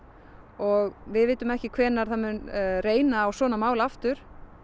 og við vitum ekki hvenær það mun reyna á svona mál aftur